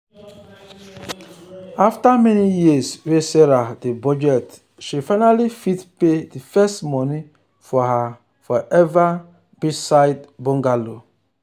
after many years wey sarah dey budget she finally fit pay the first money for her forever beachside bungalow.